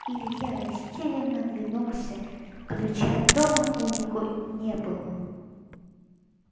илья растерянно оглянулся ключа от дома у него не было